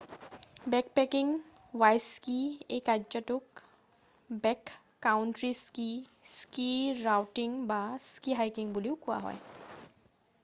backpacking by ski এই কাৰ্যটোক backcountry ski ski ৰাউটিং বা স্কি হাইকিং বুলি কোৱা হয়